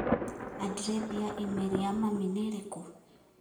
andirethi ya i-mīrū ya mami nĩ ĩrĩkũ?